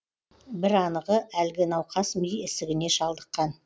бір анығы әлгі науқас ми ісігіне шалдыққан